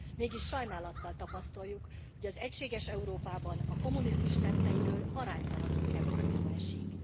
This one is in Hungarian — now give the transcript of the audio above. Mégis sajnálattal tapasztaljuk, hogy az egységes Európában a kommunizmus tetteiről aránytalanul kevés szó esik.